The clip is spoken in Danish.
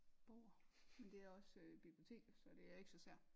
Bøger men det er også øh biblioteket så det er ikke så sær